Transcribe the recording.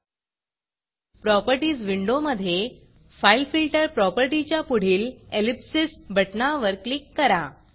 properties विंडोमधे fileFilterफाइल filter प्रॉपर्टीच्या पुढील ellipsisएलिप्सिस बटणावर क्लिक करा